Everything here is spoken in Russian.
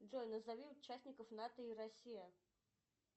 джой назови участников нато и россия